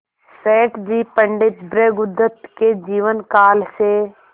सेठ जी पंडित भृगुदत्त के जीवन काल से